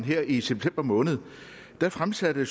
her i september måned fremsatte